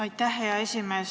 Aitäh, hea esimees!